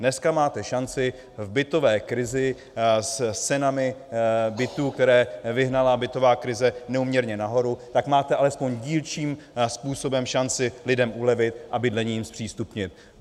Dneska máte šanci v bytové krizi s cenami bytů, které vyhnala bytová krize neúměrně nahoru, tak máte alespoň dílčím způsobem šanci lidem ulevit a bydlení jim zpřístupnit.